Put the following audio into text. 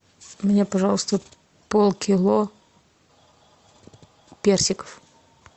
мне пожалуйста полкило персиков